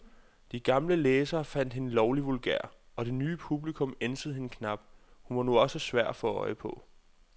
De gamle læsere fandt hende lovlig vulgær, og det nye publikum ænsede hende knap, hun var nu også svær at få øje på.